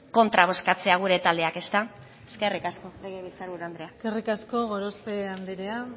kontra bozkatzea gure taldeak ezta eskerrik asko legebiltzar buru andrea eskerrik asko gorospe andrea